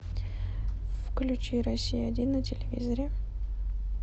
включи россия один на телевизоре